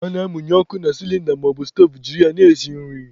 A na-amụnye ọkụ na sịlịnda maọbụ stoovu jiri ya na-esi nri.